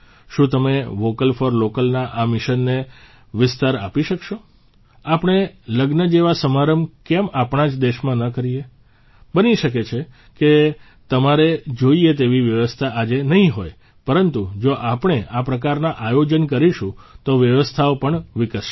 શું તમે vocal for લોકલના આ મિશનને વિસ્તાર આપી શકશો આપણે લગ્ન જેવા સમારંભ કેમ આપણા જ દેશમાં ન કરીએ બની શકે કે તમારે જોઇએ તેવી વ્યવસ્થા આજે નહીં હોય પરંતુ જો આપણે આ પ્રકારના આયોજન કરીશું તો વ્યવસ્થાઓ પણ વિકસશે